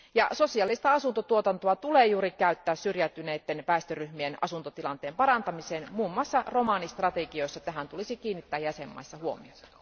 Ja sosiaalista asuntotuotantoa tulee juuri käyttää syrjäytyneiden väestöryhmien asuntotilanteen parantamiseen, muun muassa romanistrategioissa tähän tulisi kiinnittää jäsenvaltioissa huomiota.